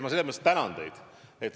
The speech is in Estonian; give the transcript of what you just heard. Selle eest ma tänan teid.